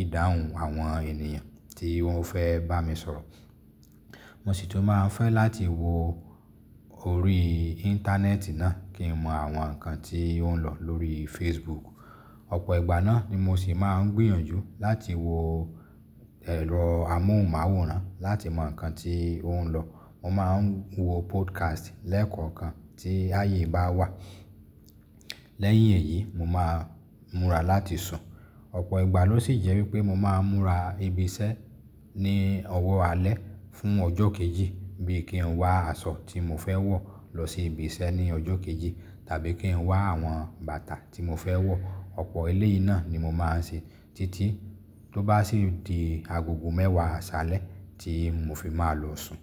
ìdáhùn àwọn ènìyàn tí wọ́n fẹ́ bá mi sọ̀rọ̀. Mo sì tún máa ń fẹ́ láti wo orí íńtánẹ́ẹ̀tì náà kí n mọ àwọn nǹkan tí ó ń lọ lórí Facebook. Ọ̀pọ̀ ìgbà náà ni mo sì máa ń gbìyànjú láti wo ẹ̀rọ amóhùnmáwòrán láti mọ nǹkan tí ó ń lọ. Mo máa ń wo pódkásì lẹ́ẹ̀kọ̀kan tí ayé bá wà. Lẹ́yìn èyí, mo máa múra láti sùn. Ọ̀pọ̀ ìgbà ló sì jẹ́ wípé mo máa ń múra ibi iṣẹ́ ní ọwọ́ alẹ́ fún ọjọ́ kejì bí i kí n wá aṣọ tí mo fẹ́ wọ̀ lọ sí ibi iṣẹ́ ní ọjọ́ kejì tàbí kí n wá àwọn bàtà tí mo fẹ́ wọ̀. Ọ̀pọ̀ ilé náà ni mo máa ń ṣe títí tó bá sì di agogo mẹ́wàá àṣálẹ́ tí mo fi máa lọ sùn.